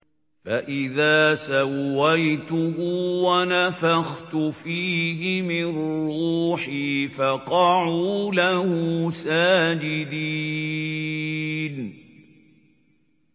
فَإِذَا سَوَّيْتُهُ وَنَفَخْتُ فِيهِ مِن رُّوحِي فَقَعُوا لَهُ سَاجِدِينَ